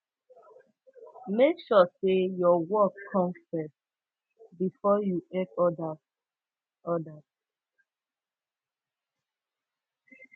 make sure say your work come first before you help odas odas